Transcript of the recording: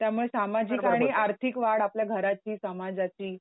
त्यामुळे सामाजिक आणि आर्थिक वाढ आपल्या घराची, समाजाची